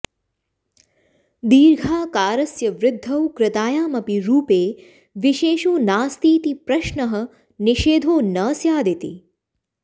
दीर्घाकारस्य वृद्धौ कृतायामपि रूपे विशेषो नास्तीति प्रश्नः निषेधो न स्यादिति